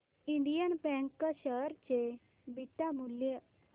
Indian bank share चे beta मूल्य